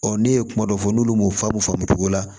ne ye kuma dɔ fɔ n'olu m'o faamu cogo la